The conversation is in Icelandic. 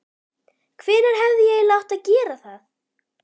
Hvenær hefði ég eiginlega átt að gera það?